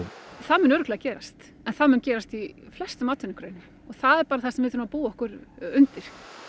það mun örugglega gerast en það mun gerast í flestum atvinnugreinum og það er bara það sem við þurfum að búa okkur undir